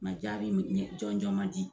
Nka jaabi jɔn jɔn man di.